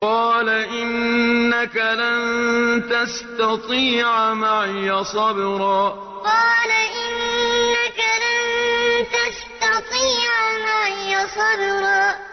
قَالَ إِنَّكَ لَن تَسْتَطِيعَ مَعِيَ صَبْرًا قَالَ إِنَّكَ لَن تَسْتَطِيعَ مَعِيَ صَبْرًا